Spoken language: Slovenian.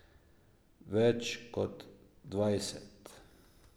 Več kot dvajset.